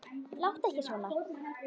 Láttu ekki svona